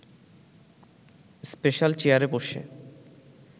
special চেয়ারে বসে